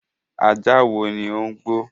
Ajá wo ni ó ń gbọ́?